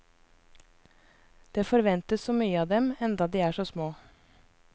Det forventes så mye av dem, enda de er så små.